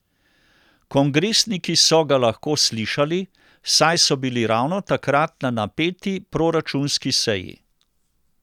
Kongresniki so ga lahko slišali, saj so bili ravno takrat na napeti proračunski seji.